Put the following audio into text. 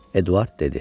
Eduard dedi: